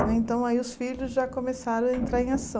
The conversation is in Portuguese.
Aí então, aí os filhos já começaram a entrar em